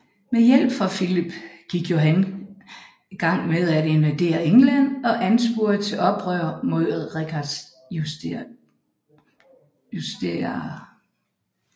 Med hjælp fra Filip gik Johan gang med at invadere England og ansporede til oprør mod Richards justitiarer